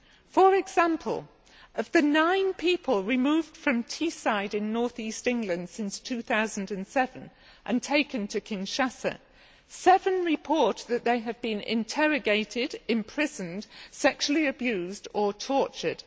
For example, of the nine people removed from Teeside in north east England since 2007 and taken to Kinshasa, seven report that they have been interrogated, imprisoned, sexually abused or tortured.